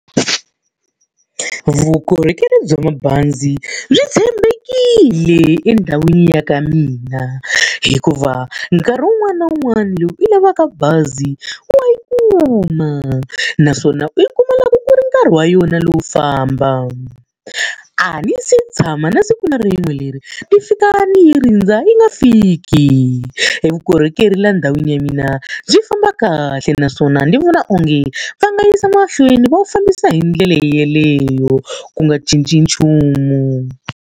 Vukorhokeri bya mabazi byi tshembekile endhawini ya ka mina, hikuva nkarhi wun'wani na wun'wani lowu u lavaka bazi wa yi kuma. Naswona u yi kuma loko ku ri nkarhi wa yona lowu famba. A ni se tshama na siku na rin'we leri ni fika ni yi rindza yi nga fiki. Evukorhokeri laha ndhawini ya mina byi famba kahle naswona ni vona onge va nga yisa mahlweni va wu fambisa hi ndlela yaleyo, ku nga cinci nchumu.